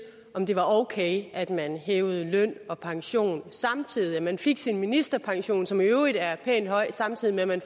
om det var okay at man hævede løn og pension samtidig altså at man fik sin ministerpension som i øvrigt er pænt høj samtidig med at man